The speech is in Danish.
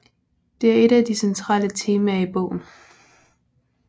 Det er et af de centrale temaer i bogen